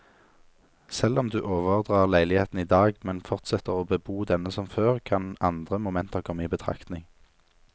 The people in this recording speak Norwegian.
Selv om du overdrar leiligheten i dag, men fortsetter å bebo denne som før, kan andre momenter komme i betraktning.